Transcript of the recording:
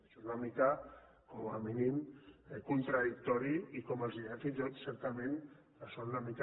això és una mica com a mínim contradictori i com els deia fins i tot certament són una mica